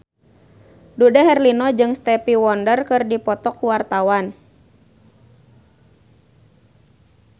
Dude Herlino jeung Stevie Wonder keur dipoto ku wartawan